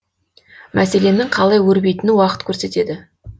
мәселенің қалай өрбитінін уақыт көрсетеді